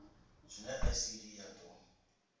zwine icd ya d o